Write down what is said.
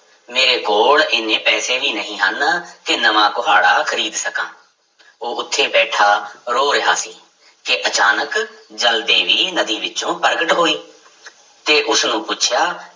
ਮੇਰੇ ਕੋਲ ਇੰਨੇ ਪੈਸੇ ਵੀ ਨਹੀਂ ਹਨ ਕਿ ਨਵਾਂ ਕੁਹਾੜਾ ਖ਼ਰੀਦ ਸਕਾਂ, ਉਹ ਉੱਥੇ ਬੈਠਾ ਰੋ ਰਿਹਾ ਸੀ ਕਿ ਅਚਾਨਕ ਜਲ ਦੇਵੀ ਨਦੀ ਵਿੱਚੋਂ ਪ੍ਰਗਟ ਹੋਈ ਤੇ ਉਸਨੂੰ ਪੁੱਛਿਆ